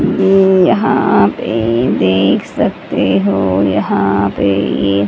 ये यहाँ पे देख सकते हो यहाँ पे ये--